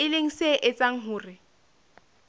e leng se etsang hore